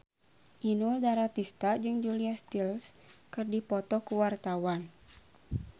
Inul Daratista jeung Julia Stiles keur dipoto ku wartawan